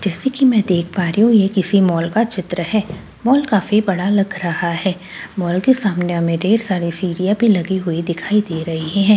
जैसे कि में देख पा रही हूँ यह किसी मॉल का चित्र है मॉल काफ़ी बड़ा लग रहा है मॉल की सामने हमे ढेर सारे सीड़िया भी लगी हुई दिखाई दे रही है यहाँ पे--